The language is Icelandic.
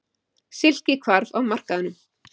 Silki hvarf af markaðnum.